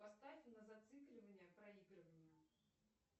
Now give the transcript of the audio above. поставь на зацикливание проигрывание